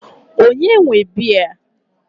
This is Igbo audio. Ònye nwe biya a?